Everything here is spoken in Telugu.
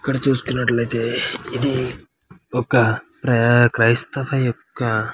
ఇక్కడ చూస్తూంట్లైతే ఇది ఒక ఆహ్ క్రిస్తవ ఒక --